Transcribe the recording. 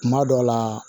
Kuma dɔ la